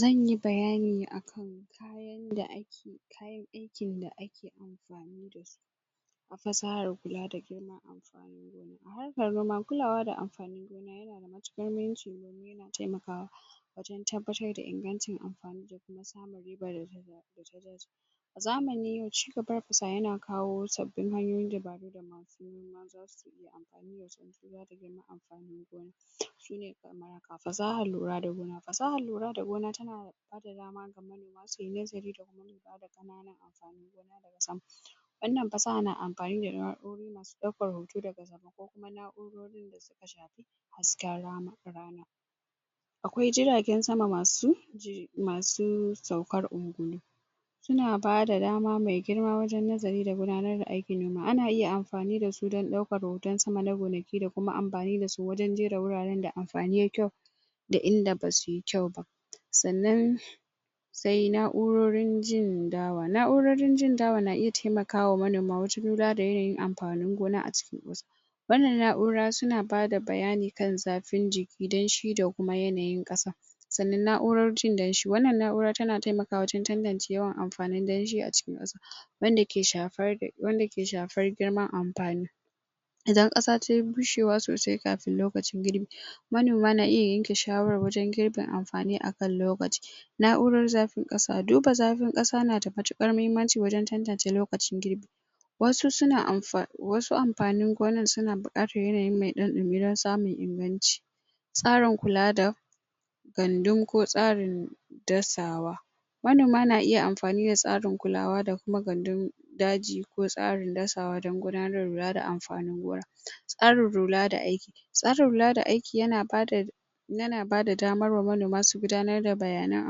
zanyi bayani akan kayan da ake kayan aikin da ake amfani dasu a fasahar kula da gina amfanin gona a harkar noma kulawa da amfanin gona yana da matuƙar mahimmanci domin yana taimakawa wajen tabbatar da ingancin amfani da kuma samun ribar da ta dace a zamanin yau cigabar fasaha yana kawo sabbin hanyoyin dabaru da masu noma zasu iya amfani dashi duba da girman anfanin gona su ne kamar haka fasahar lura da gona fasahar lura da gona tana bada dama ga manoma suyi nazari da kuma lura da ƙananan amfanin gona daga sama wannan fasaha na amfani da na'urori masu ɗaukar hoto daga sama ko kuma na'urorin da suka shafi hasken rana akwai jiragen sama masu masu saukar ungulu suna bada dama mai girma wajen nazari da gudanar da aikin noma ana iya amfani dasu don ɗaukar hoton sama na gonaki da kuma amfani dasu wajen jera wuraren da amfani yayi kyau da inda basuyi kyau ba sannan sai na'urorin jin dawa na'urorin jin dawa na iya taimakawa manoma wajen lura da yanayin amfanin gona a cikin ƙasa wannan na'ura suna bada bayani kan zafin jiki danshi da kuma yanayin ƙasa sannan na'urar jin danshi wannan na'ura tana taimakawa wajen tantance yawan amfanin danshi a cikin ƙasa wanda ke shafar girman amfani idan ƙasa tayi bushewa sosai kafin lokacin girbi manoma na iya yanke shawarar wajen girbin amfani akan lokaci na'urar zafin ƙasa duba zafin ƙasa na da matuƙar mahimmanci wajen tantance lokacin girbi wasu suna amfani wasu amfanin gonan suna buƙatar yanayi mai ɗan ɗumi don samun inganci tsarin kula da gandun ko tsarin dasawa manoma na iya amfani da tsarin kulawa da kuma gandun daji ko tsarin dasawa don gudanar da lura da amfanin gona tsarin lura da aiki tsarin lura da aiki yana bada yana bada damar wa manoma su gudanar da bayanan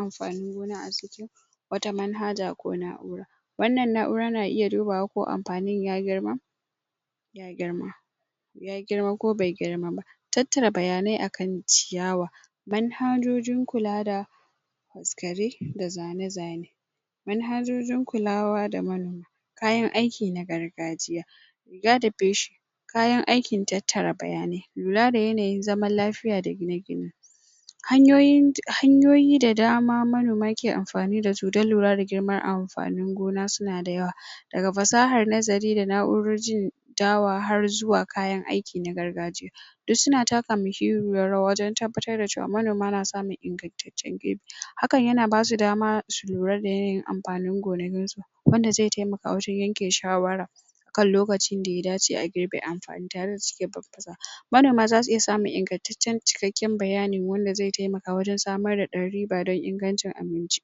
amfanin gona a wata manhaja ko na'ura wannan na'ura na iya dubawa ko amfanin ya girma ya girma ya girma ko bai girma ba tattara bayanai a kan ciyawa manhajojin kula da faskare da zane zane manhajojin kulawa da manoma kayan aiki na gargajiya ga da peshi kayan aikin tattara bayanai lura da yanayin zaman lafiya da gine gine hanyoyin hanyoyi da dama manoma ke amfani dasu don lura da girman amfanin gona suna da yawa daga fasahar nazari da na'urorin dawa har zuwa kayan aiki na gargajiya duk suna taka mahimmiyar rawa wajen tabbatar da cewa manoma na samun ingantaccen girbi hakan yana basu dama su lura da yanayin amfanin gonakinsu wanda zai taimaka wajen yanke shawara akan lokacin da ya dace a girbe amfani tare da cike babbaza manoma zasu iya samun ingantaccen cikakken bayani wanda zai taimaka wajen samar da ɗan riba don ingancin abinci?